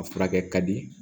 A furakɛ ka di